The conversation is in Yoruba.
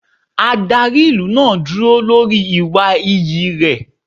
Adarí ìlú náà dúró lórí ìwà iyì rẹ̀.